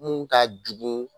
Mun ka jugun